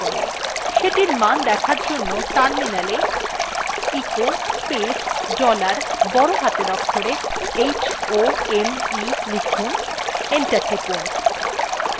সেটির মান দেখার জন্য terminal e echo space dollar বড় হাতের অক্ষরে home লিখুন enter টিপুন